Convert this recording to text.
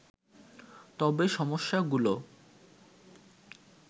তবে সমস্যাগুলো